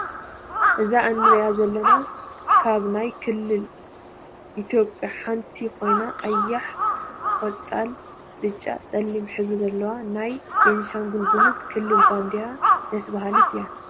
እዛ እንሪኣ ዘለና ካብ ናይ ክልል ኢትዮጰያ ሓንቲ ኮይና ቀይሕ ፣ቆፃል፣ ብጫ፣ ፀሊም ሕብሪ ዘለዎ ናይ ቤንሻንጉል ጉሙዝ ክልል ባንዴራ ደስ ባሃሊት እያ።